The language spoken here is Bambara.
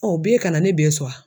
Ɔ b'e kana ne bɛ sɔn a.